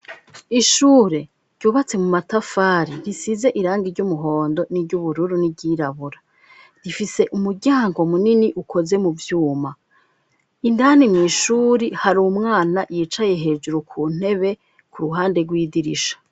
Ishure ryubatse mu matafari risize irangi ry'umuhondo n'iry'ubururu n'iry'irabura rifise umuryango munini ukoze mu byuma indani mu ishuri hari umwana yicaye hejuru ku ntebe ku ruhande rw'idirisha.